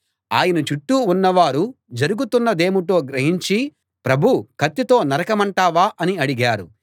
ఆయన చుట్టూ ఉన్నవారు జరుగుతున్నదేమిటో గ్రహించి ప్రభూ కత్తితో నరకమంటావా అని అడిగారు